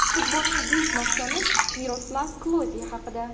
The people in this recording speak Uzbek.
Futbolning buyuk masoni Miroslav Kloze haqida.